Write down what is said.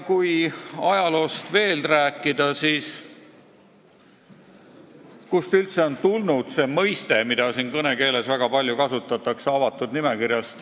Kui rääkida veel ajaloost, siis pole teada, kust on üldse tulnud termin, mida kõnekeeles väga palju kasutatakse, "avatud nimekiri".